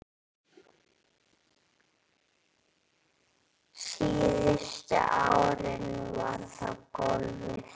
Síðustu árin var það golfið.